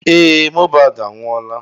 Ee Mohbad anwụola.